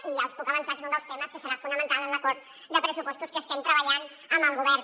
i ja els puc avançar que és un dels temes que serà fonamental en l’acord de pressupostos que estem treballant amb el govern